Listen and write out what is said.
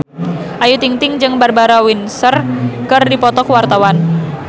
Ayu Ting-ting jeung Barbara Windsor keur dipoto ku wartawan